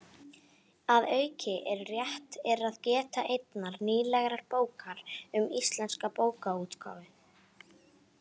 Að auki er rétt er að geta einnar nýlegrar bókar um íslenska bókaútgáfu: